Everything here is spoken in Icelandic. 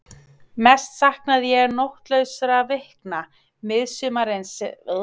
Mest saknaði ég nóttlausra vikna miðsumarsins sem ég hafði farið á mis við ytra.